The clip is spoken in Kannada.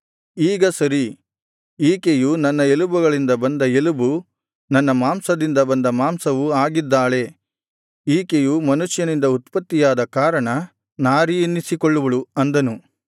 ಈಗ ಸರಿ ಈಕೆಯು ನನ್ನ ಎಲುಬುಗಳಿಂದ ಬಂದ ಎಲುಬು ನನ್ನ ಮಾಂಸದಿಂದ ಬಂದ ಮಾಂಸವೂ ಆಗಿದ್ದಾಳೆ ಈಕೆಯು ಮನುಷ್ಯನಿಂದ ಉತ್ಪತ್ತಿಯಾದ ಕಾರಣ ನಾರೀ ಎನ್ನಿಸಿಕೊಳ್ಳುವಳು ಅಂದನು